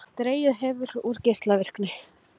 Dregið hefur úr geislavirkni